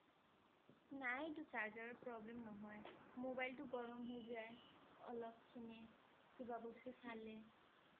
নাই এইটো charger ৰ problem নহয় mobile টো গৰম হৈ যায় অলপ খিনি কিবা বস্তু চালে